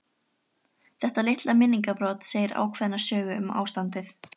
Þetta litla minningarbrot segir ákveðna sögu um ástandið.